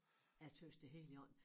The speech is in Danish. Jeg tøs det helt i orden